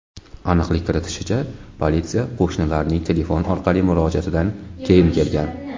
Aniqlik kiritilishicha, politsiya qo‘shnilarning telefon orqali murojaatidan keyin kelgan.